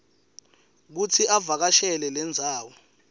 kutsi avakashele lendzawo